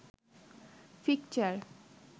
fixture